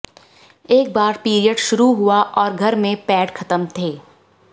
एक बार पीरियड शुरू हुआ और घर में पैड खत्म थे